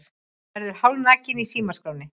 Verður hálfnakinn í símaskránni